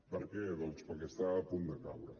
per què doncs perquè estava a punt de caure